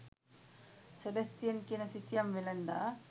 Sebastian කියන සිතියම් වෙළෙන්දා